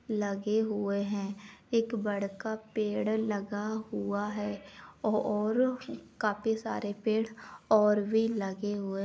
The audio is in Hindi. लगे हुए हैं। एक बड़का पेड़ लगा हुआ है ओ और काफी सारे पेड़ और भी लगे हुए --